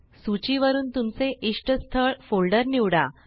सूची वरुन तुमचे इष्टस्थळ फोल्डर निवडा